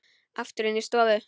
Aftur inn í stofu.